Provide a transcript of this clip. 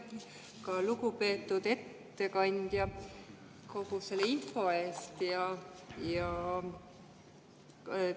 Aitäh, lugupeetud ettekandja, kogu selle info eest!